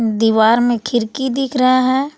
दीवार में खिड़की दिख रहा है।